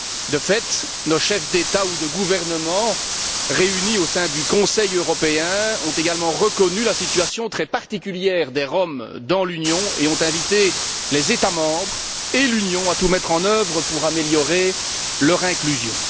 De fait, nos chefs d'État ou de gouvernement, réunis au sein du Conseil européen, ont également reconnu la situation très particulière des Roms dans l'Union et ont invité les États membres et l'Union à tout mettre en œuvre pour améliorer leur inclusion.